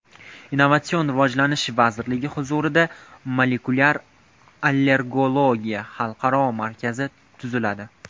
Innovatsion rivojlanish vazirligi huzurida Molekulyar allergologiya xalqaro markazi tuziladi.